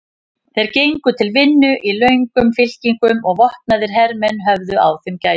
Þeir gengu til vinnu í löngum fylkingum og vopnaðir hermenn höfðu á þeim gætur.